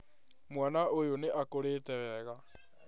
Mwana ũyũ nĩ akũrĩte wega